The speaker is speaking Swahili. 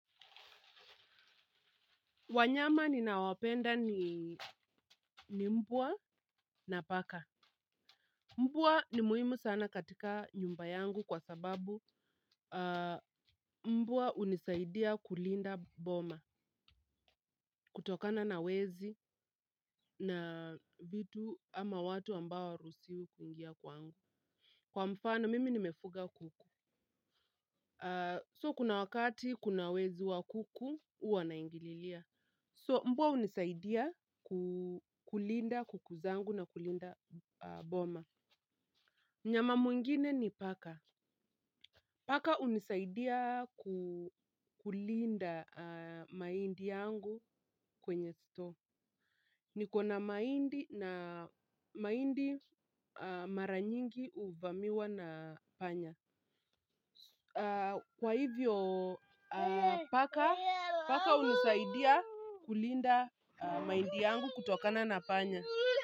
Wanyama ninao wapenda ni mbwa na paka. Mbwa ni muhimu sana katika nyumba yangu kwa sababu, mbwa hunisaidia kulinda boma kutokana na wezi na vitu ama watu ambao hawaruhusiwi kuingia kwangu. Kwa mfano mimi nimefuga kuku. So kuna wakati kuna wezi wa kuku huwa naingililia. So mbwa hunisaidia kulinda kuku zangu na kulinda boma. Mnyama mwingine ni paka. Paka hunisaidia kulinda mahindi yangu kwenye store. Niko na mahindi na mahindi mara nyingi huvamiwa na panya. Kwa hivyo paka hunisaidia kulinda mahindi yangu kutokana na panya.